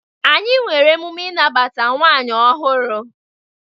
Anyị nwere emume ịnabata nwaanyi ọhụrụ.